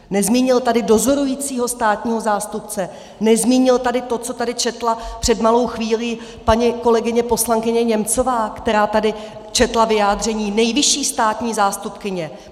Nezmínil tady dozorujícího státního zástupce, nezmínil tady to, co tady četla před malou chvílí paní kolegyně poslankyně Němcová, která tady četla vyjádření nejvyšší státní zástupkyně.